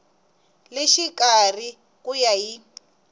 le xikarhi ku ya hi